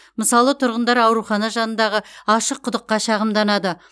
мысалы тұрғындар аурухана жанындағы ашық құдыққа шағымданды